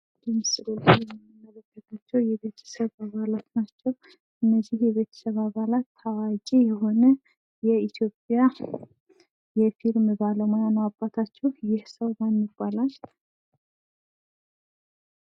በምስሉ ላይ የምንመለከታቸው የቤተሰብ አባላት ናቸው። እነዚህ የቤተሰብ አባላት ታዋቂ የሆነ የኢትዮጵያ የፊልም ባለሙያ ነው አባታቸው። ይህ ሰው ማን ይባላል?